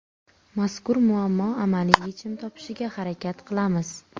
Mazkur muammo amaliy yechim topishiga harakat qilamiz.